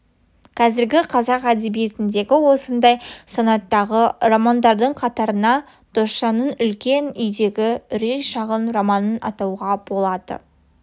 қазіргі қазақ әдебиетіндегі осындай санаттағы романдардың қатарына досжанның үлкен үйдегі үрей шағын романын атауға болады